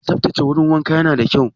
Saftace wurin wanka na da kyau